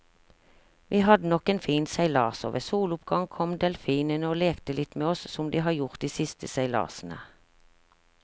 Vi hadde nok en fin seilas, og ved soloppgang kom delfinene og lekte litt med oss som de har gjort de siste seilasene.